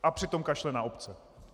A přitom kašle na obce.